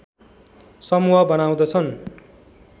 समूह बनाउँदछन्